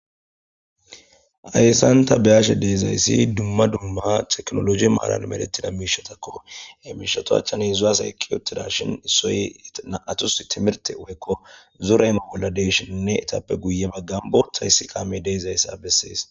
Hayssan tha be7ashe de7izayssi dumma dumma theknologe maaran medheththida miishathakko; he mishatu achchani heezzu asay eqqi uththidaashin issoy na7athussi thimirththe woykko zore imo bolla de7ishininne ethappe guye baggan boththa issi kaamee de7izayssa bessees.